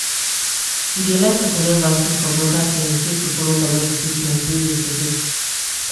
you de like to collect vaccin from local clinic make you follow collect de treatment wey de to do.